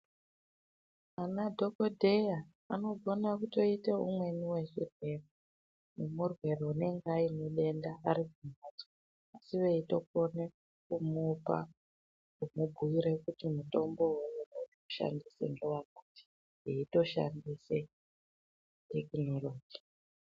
Anadhogodheya anogone kutoite umweni wezvirwere nemurwere unenge aine denda asi arikumhatso asi veitokone kumupa, kumubhuira kuti mutombo wounokone kushandisa ngewakati, eitoshandise tekinoloji.